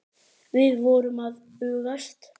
Við vorum að bugast.